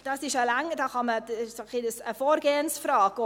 – Das ist auch eine Vorgehensfrage.